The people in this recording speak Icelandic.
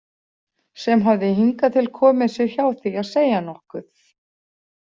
Sem hafði hingað til komið sér hjá því að segja nokkuð.